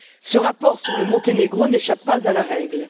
Ce rapport sur le Monténégro n'échappe pas à la règle.